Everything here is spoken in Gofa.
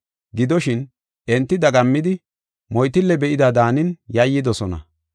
Gidoshin, enti dagammidi, moytille be7ida daanin yayyidosona.